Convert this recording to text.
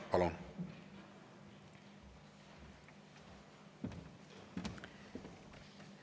Palun!